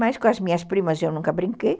Mas com as minhas primas eu nunca brinquei.